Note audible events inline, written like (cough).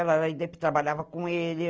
Ela (unintelligible) trabalhava com ele.